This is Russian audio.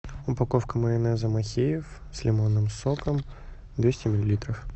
упаковка майонеза махеев с лимонным соком двести миллилитров